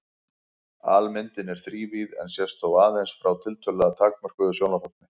Almyndin er þrívíð en sést þó aðeins frá tiltölulega takmörkuðu sjónarhorni.